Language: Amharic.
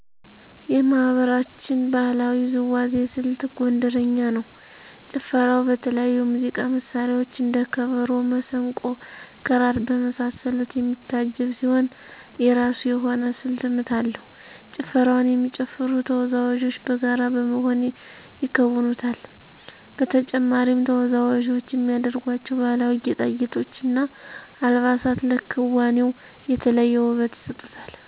የማህበረሰባችን ባህላዊ ውዝዋዜ ስልት ጎንደረኛ ነው። ጭፈራው በተለያዩ የሙዚቃ መሳሪያዎች እንደ ከበሮ፣ መሰንቆ፣ ክራር በመሳሰሉት የሚታጀብ ሲሆን የራሱ የሆነ ስልተ ምት አለው። ጭፈራውን የሚጨፍሩ ተወዛወዦች በጋራ በመሆን ይከውኑታል። በተጨማሪም ተወዛዋዞች የሚያደርጓቸው ባህላዊ ጌጣጌጦች እና አልባሳት ለክዋኔው የተለየ ውበት ይሰጡታል።